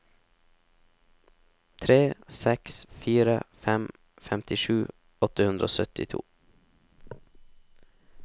tre seks fire fem femtisju åtte hundre og syttito